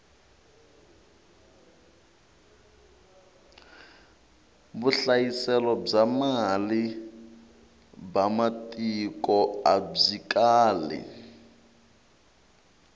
vuhlayiselo bya mali ba matiko abyi kali